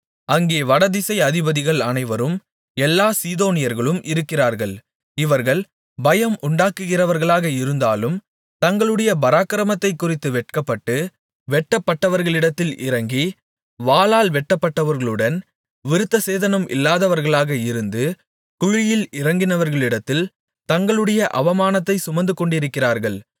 அங்கே வடதிசை அதிபதிகள் அனைவரும் எல்லாச் சீதோனியர்களும் இருக்கிறார்கள் இவர்கள் பயம் உண்டாக்குகிறவர்களாக இருந்தாலும் தங்களுடைய பராக்கிரமத்தைக்குறித்து வெட்கப்பட்டு வெட்டப்பட்டவர்களிடத்தில் இறங்கி வாளால் வெட்டப்பட்டவர்களுடன் விருத்தசேதனம் இல்லாதவர்களாக இருந்து குழியில் இறங்கினவர்களிடத்தில் தங்களுடைய அவமானத்தைச் சுமந்துகொண்டிருக்கிறார்கள்